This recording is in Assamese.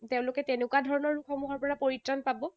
তেওঁলোকে তেনেকুৱা ধৰণৰ সমূহৰ পৰা পৰিত্ৰাণ পাব।